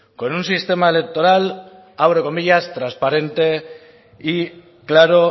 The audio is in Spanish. con un sistema electoral abro comillas transparente y claro